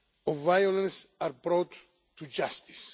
of violence are brought to justice.